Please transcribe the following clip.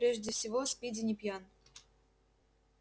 прежде всего спиди не пьян